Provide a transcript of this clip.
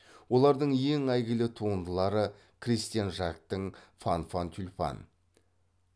олардың ең әйгілі туындылары кристиан жактың фанфан тюльпан